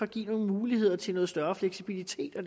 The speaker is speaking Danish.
giver nogle muligheder til noget større fleksibilitet og